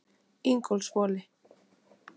Ingólfshvoli